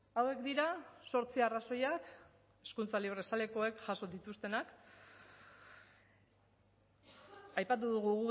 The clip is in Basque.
hauek dira zortzi arrazoiak hezkuntza librezalekoek jaso dituztenak aipatu dugu